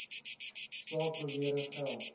saak bewering geld